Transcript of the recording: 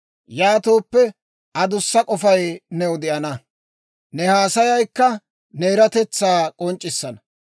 Yaatooppe, adussa k'ofay new de'ana; ne haasayaykka ne eratetsaa k'onc'c'issana.